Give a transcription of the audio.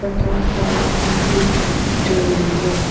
तथा साइड में एक स्टूल है।